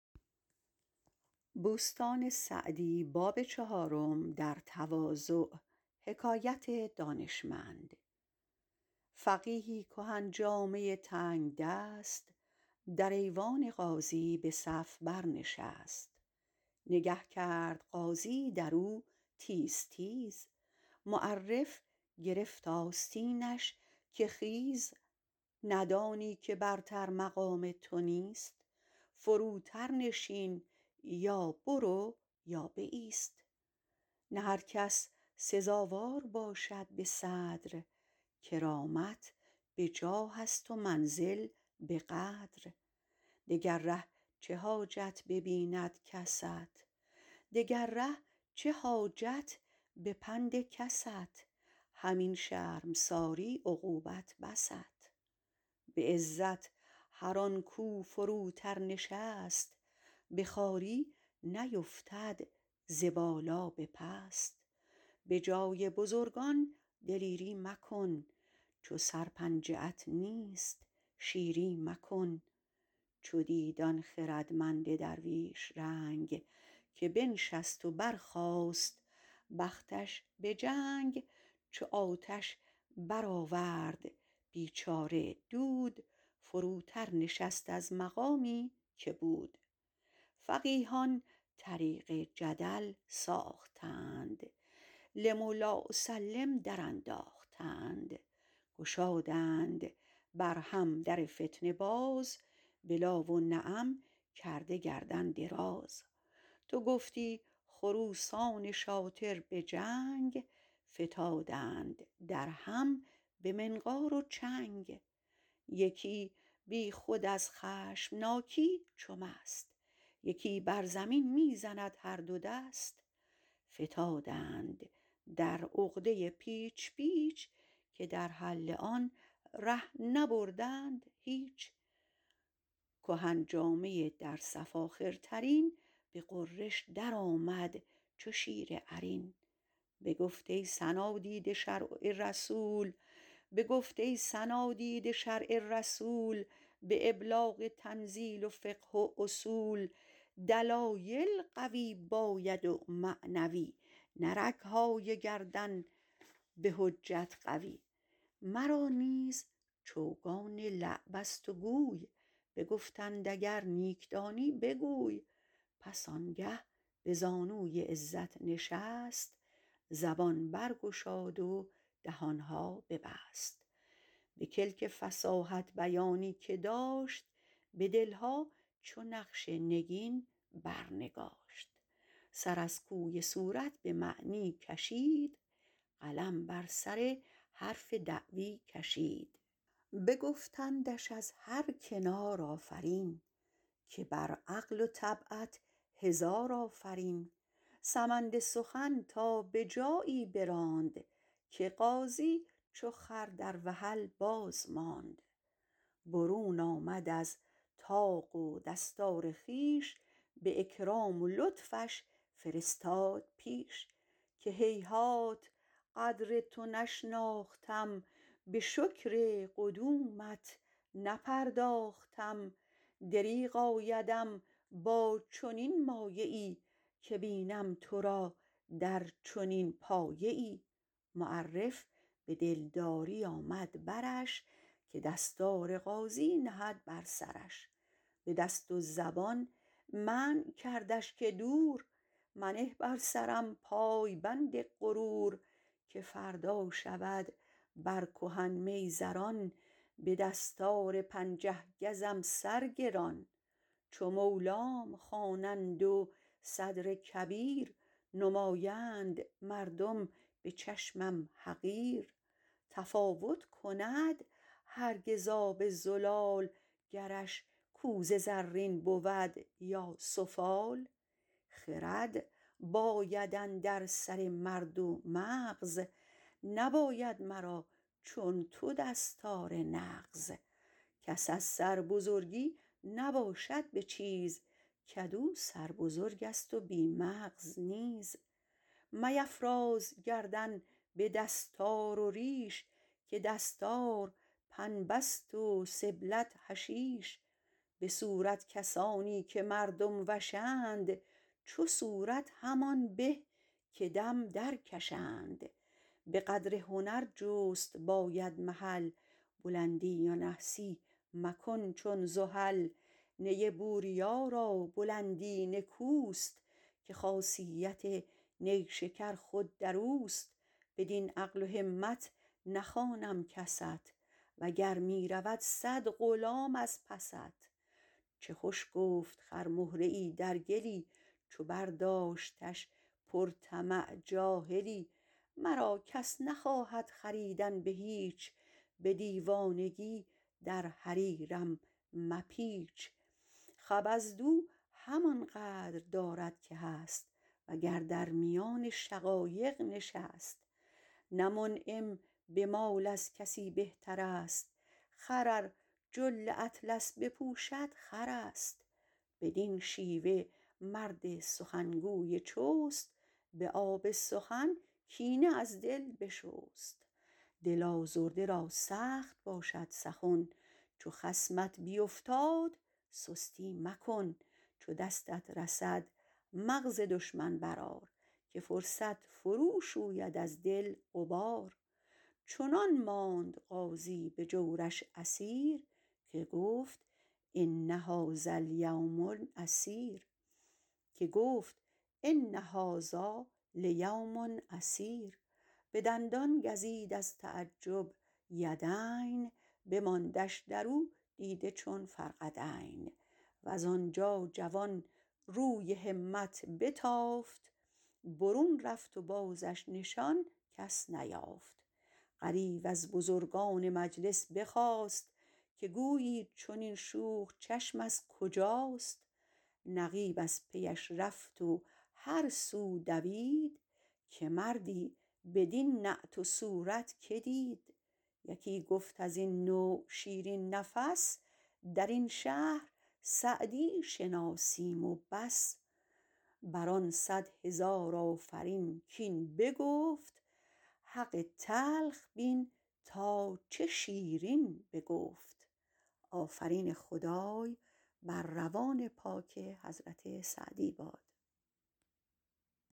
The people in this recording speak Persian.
فقیهی کهن جامه تنگدست در ایوان قاضی به صف بر نشست نگه کرد قاضی در او تیز تیز معرف گرفت آستینش که خیز ندانی که برتر مقام تو نیست فروتر نشین یا برو یا بایست نه هر کس سزاوار باشد به صدر کرامت به جاه است و منزل به قدر دگر ره چه حاجت ببیند کست همین شرمساری عقوبت بست به عزت هر آن کاو فروتر نشست به خواری نیفتد ز بالا به پست به جای بزرگان دلیری مکن چو سر پنجه ات نیست شیری مکن چو دید آن خردمند درویش رنگ که بنشست و برخاست بختش به جنگ چو آتش برآورد بیچاره دود فروتر نشست از مقامی که بود فقیهان طریق جدل ساختند لم و لا اسلم درانداختند گشادند بر هم در فتنه باز به لا و نعم کرده گردن دراز تو گفتی خروسان شاطر به جنگ فتادند در هم به منقار و چنگ یکی بی خود از خشمناکی چو مست یکی بر زمین می زند هر دو دست فتادند در عقده پیچ پیچ که در حل آن ره نبردند هیچ کهن جامه در صف آخرترین به غرش در آمد چو شیر عرین بگفت ای صنادید شرع رسول به ابلاغ تنزیل و فقه و اصول دلایل قوی باید و معنوی نه رگهای گردن به حجت قوی مرا نیز چوگان لعب است و گوی بگفتند اگر نیک دانی بگوی به کلک فصاحت بیانی که داشت به دلها چو نقش نگین بر نگاشت سر از کوی صورت به معنی کشید قلم بر سر حرف دعوی کشید بگفتندش از هر کنار آفرین که بر عقل و طبعت هزار آفرین سمند سخن تا به جایی براند که قاضی چو خر در وحل باز ماند برون آمد از طاق و دستار خویش به اکرام و لطفش فرستاد پیش که هیهات قدر تو نشناختم به شکر قدومت نپرداختم دریغ آیدم با چنین مایه ای که بینم تو را در چنین پایه ای معرف به دلداری آمد برش که دستار قاضی نهد بر سرش به دست و زبان منع کردش که دور منه بر سرم پایبند غرور که فردا شود بر کهن میزران به دستار پنجه گزم سر گران چو مولام خوانند و صدر کبیر نمایند مردم به چشمم حقیر تفاوت کند هرگز آب زلال گرش کوزه زرین بود یا سفال خرد باید اندر سر مرد و مغز نباید مرا چون تو دستار نغز کس از سربزرگی نباشد به چیز کدو سربزرگ است و بی مغز نیز میفراز گردن به دستار و ریش که دستار پنبه ست و سبلت حشیش به صورت کسانی که مردم وشند چو صورت همان به که دم در کشند به قدر هنر جست باید محل بلندی و نحسی مکن چون زحل نی بوریا را بلندی نکوست که خاصیت نیشکر خود در اوست بدین عقل و همت نخوانم کست و گر می رود صد غلام از پست چه خوش گفت خرمهره ای در گلی چو برداشتش پر طمع جاهلی مرا کس نخواهد خریدن به هیچ به دیوانگی در حریرم مپیچ خبزدو همان قدر دارد که هست وگر در میان شقایق نشست نه منعم به مال از کسی بهتر است خر ار جل اطلس بپوشد خر است بدین شیوه مرد سخنگوی چست به آب سخن کینه از دل بشست دل آزرده را سخت باشد سخن چو خصمت بیفتاد سستی مکن چو دستت رسد مغز دشمن بر آر که فرصت فرو شوید از دل غبار چنان ماند قاضی به جورش اسیر که گفت ان هذا لیوم عسیر به دندان گزید از تعجب یدین بماندش در او دیده چون فرقدین وز آنجا جوان روی همت بتافت برون رفت و بازش نشان کس نیافت غریو از بزرگان مجلس بخاست که گویی چنین شوخ چشم از کجاست نقیب از پیش رفت و هر سو دوید که مردی بدین نعت و صورت که دید یکی گفت از این نوع شیرین نفس در این شهر سعدی شناسیم و بس بر آن صد هزار آفرین کاین بگفت حق تلخ بین تا چه شیرین بگفت